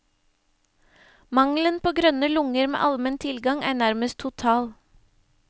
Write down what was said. Mangelen på grønne lunger med almen tilgang er nærmest total.